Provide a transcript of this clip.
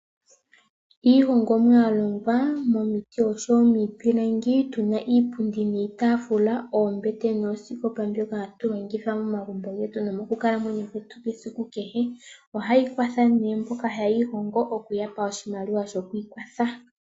Iihongomwa ya longwa momiti noshowo miipilangi, tuna iipundi niitafula, oombete noosikopa mbyoka ha tu longitha momagumbo getu no mokukalamweyo kwetu kwesiku kehe. Ohayi kwatha nee mboka haye yi hongo okuya pashimaliwa shoku ikwatha.